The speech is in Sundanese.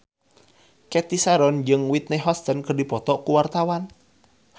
Cathy Sharon jeung Whitney Houston keur dipoto ku wartawan